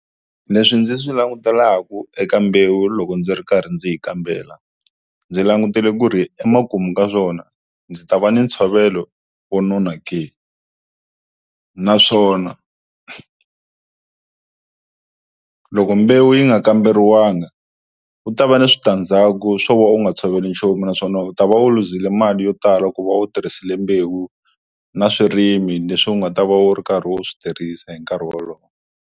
Leswi ndzi swi langutelaka eka mbewu loko ndzi ri karhi ndzi yi kambela, ndzi langutele ku ri emakumu ka swona ndzi ta va ni ntshovelo wo nona ke, naswona loko mbewu yi nga kamberiwanga ku ta va ni switandzhaku swo va u nga tshoveli nchumu naswona u ta va u luzile mali yo tala ku va u tirhisile mbewu na swirimi leswi u nga ta va u ri karhi u swi tirhisa hi nkarhi wolowo.